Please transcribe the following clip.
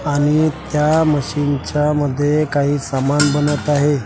आणि त्या मशीनच्या मध्ये काही सामान बनत आहे.